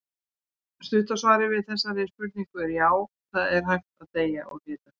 Stutta svarið við þessari spurningu er já, það er hægt að deyja úr hita.